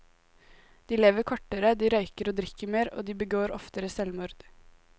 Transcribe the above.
De lever kortere, de røyker og drikker mer, og de begår oftere selvmord.